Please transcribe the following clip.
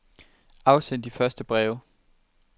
Afsend de tre første breve.